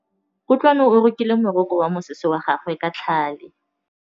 Kutlwanô o rokile morokô wa mosese wa gagwe ka tlhale.